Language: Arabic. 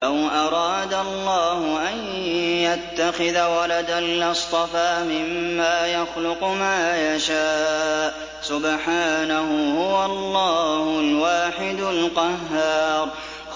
لَّوْ أَرَادَ اللَّهُ أَن يَتَّخِذَ وَلَدًا لَّاصْطَفَىٰ مِمَّا يَخْلُقُ مَا يَشَاءُ ۚ سُبْحَانَهُ ۖ هُوَ اللَّهُ الْوَاحِدُ الْقَهَّارُ